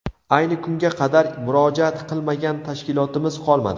Ayni kunga qadar murojaat qilmagan tashkilotimiz qolmadi.